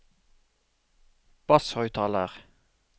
basshøyttaler